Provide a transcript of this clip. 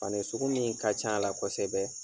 Fani sugu min ka c'a la kɔsɛbɛ